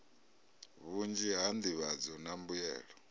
vhunzhi ha nḓivhadzo na mbuyelo